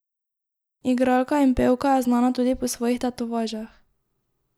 Igralka in pevka je znana tudi po svojih tetovažah.